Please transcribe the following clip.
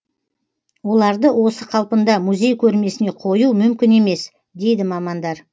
оларды осы қалпында музей көрмесіне қою мүмкін емес дейді мамандар